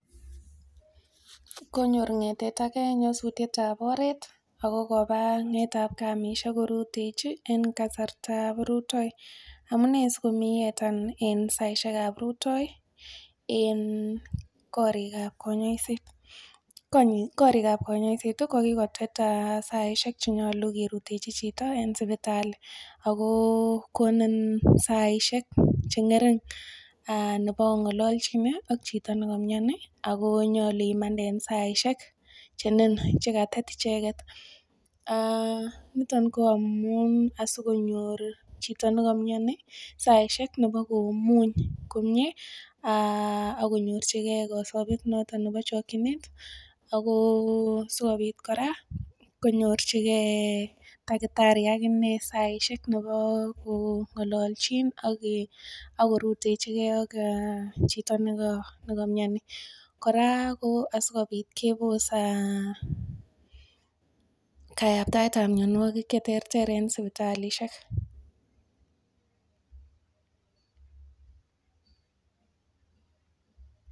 Konyor ng'etet age nyosutietab oret ako koba ng'etabkamisiek korutechi en kasartab rutoo. Amune sikomi yetan en saisiekab rutoi en korikab konyoiset? Korikab konyoiset kokikotet saisiek chenyolu kerutechi chito en sipitali ako konin saisiek che ng'ering nebo ong'ololchine ak chito nekomioni ako nyolu imande en saisiek chenin chekatet icheket niton ko amun asikonyor chito nekomioni saisiek nebo komuny komie um akonyorchigee kasobet noton nebo chokyinet ako sikobit kora konyorchigee takitari akinee saisiek nebo kong'olonchin ak korutechigee ak chito nekomioni kora ko asikobit kebos kayaptaet ab mionwogik cheterter en sipitalisiek